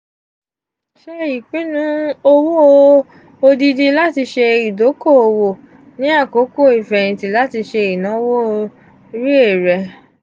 ṣe ipinnu owo odidii lati ṣe idoko-owo ni akoko ifẹhinti lati ṣe inawo rle re.